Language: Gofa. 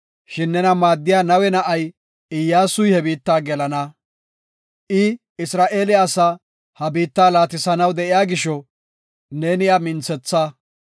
Shin nena maaddiya Nawe na7ay, Iyyasuy he biitta gelana. I Isra7eele asaa he biittaa laatisanaw de7iya gisho neeni iya minthetha.